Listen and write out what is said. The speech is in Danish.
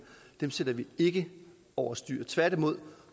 sætter vi ikke over styr tværtimod